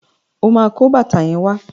O máa kó bàtà yẹn wá.